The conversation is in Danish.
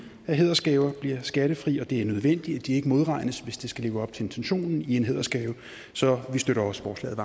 at hædersgaver bliver skattefri og det er nødvendigt at de ikke modregnes hvis det skal leve op til intentionen i en hædersgave så vi støtter også forslaget